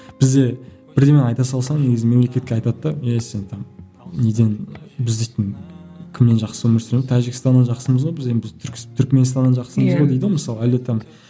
бізде бірдемені айта салсаң негізі мемлекетке айтады да ей сен там неден біз дейтін кімнен жақсы өмір сүреміз тәжікстаннан жақсымыз ғой біз енді біз түркменстаннан жақсымыз ғой дейді ғой мысалы әлде там